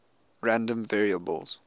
random variables